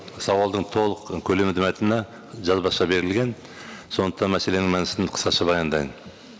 сауалдың толық көлемінде мәтіні жазбаша берілген сондықтан мәселенің мәнісін қысқаша баяндайын